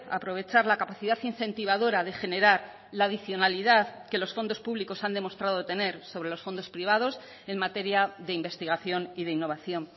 aprovechar la capacidad incentivadora de generar la adicionalidad que los fondos públicos han demostrado tener sobre los fondos privados en materia de investigación y de innovación